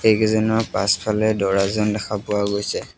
ব্যক্তি কেইজনৰ পাছফালে দৰাজন দেখা পোৱা গৈছে।